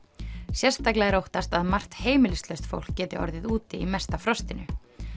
sérstaklega er óttast að margt heimilislaust fólk geti orðið úti í mesta frostinu